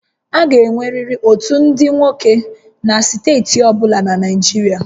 A ga-enweriri otu ndị nwoke na steeti ọ bụla na Naịjirịa